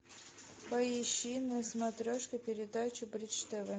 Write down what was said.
поищи на смотрешке передачу бридж тв